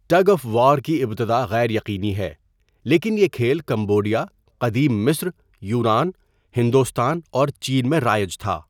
Tug of war کی ابتداء غیر یقینی ہے لیکن یہ کھیل کمبوڈیا، قدیم مصر، یونان، ہندوستان اور چین میں رائج تھا۔